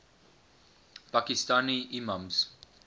pakistani imams